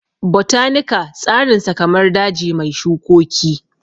Botanika tsarinsa kamar daji mai shukoki